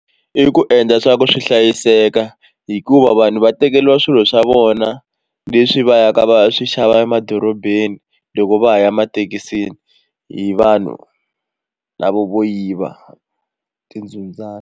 I ku endla swa ku swi hlayiseka hikuva vanhu va tekeriwa swilo swa vona leswi va yaka va ya swi xava emadorobeni loko va ha ya emathekisini hi vanhu lava vo yiva .